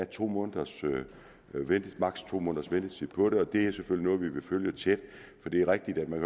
to måneders ventetid på det det er selvfølgelig noget vi vil følge tæt for det er rigtigt at man